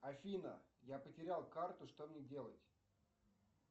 афина я потерял карту что мне делать